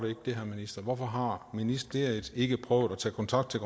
det herre minister hvorfor har ministeriet ikke prøvet at tage kontakt til